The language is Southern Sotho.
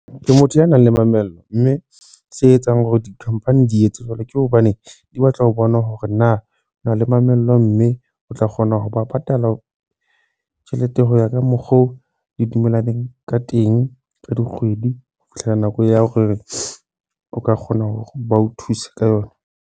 Ke motho ya nang le mamello mme se etsang hore di-company di etse jwalo, ke hobane di batla ho bona hore na ona le mamello mme o tla kgona ho ba patala tjhelete ho ya ka mokgo o le dumellaneng ka teng ka dikgwedi ho fihlela nako ya hore o ka kgona hore ba o thuse ka yona.